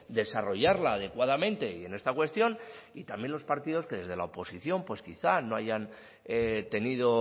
desarrollarla adecuadamente y en esta cuestión y también los partidos que desde la oposición pues quizá no hayan tenido